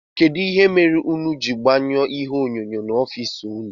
Kedụ ihe mere ụnụ jiri gbanye ihe onyonyo n'ofici ụnụ?